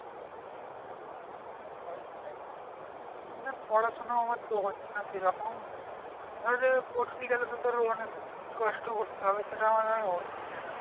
তাই জন্যেই তো ধর পড়াশোনা তো আমার হচ্ছে না সেরকম ধরে না পড়তে গেলে তো তোর অনেক সেটা আমার আর হচ্ছে না।